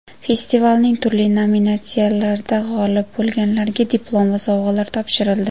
Festivalning turli nominatsiyalarida g‘olib bo‘lganlarga diplom va sovg‘alar topshirildi.